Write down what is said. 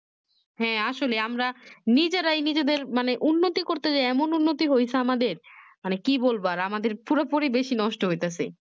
হ্যাঁ আসলে আমরা নিজেরাই নিজেদের মানে উন্নতির করতে গিয়ে যে এমন উন্নতি হয়েছে আমাদের মানে কি বলবো আর আমাদের পুরোপুরি বেশি নষ্ট হইতেছে